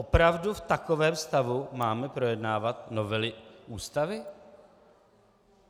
Opravdu v takovém stavu máme projednávat novely Ústavy?